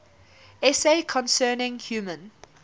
essay concerning human